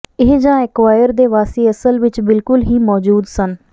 ਇਹ ਜਾਂ ਐਕੁਆਇਰ ਦੇ ਵਾਸੀ ਅਸਲ ਵਿਚ ਬਿਲਕੁਲ ਹੀ ਮੌਜੂਦ ਸਨ